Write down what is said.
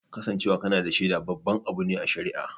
Kasancewa kana da shaida babban abu ne a shari'a